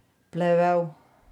Plevel.